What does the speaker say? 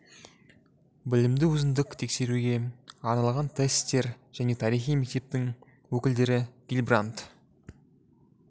білімді өзіндік тексеруге арналған тестер жаңа тарихи мектептің өкілдері гильбранд